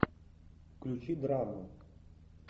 включи драму